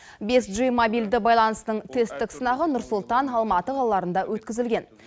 бес джи мобильді байланыстың тесттік сынағы нұр сұлтан алматы қалаларында өткізілген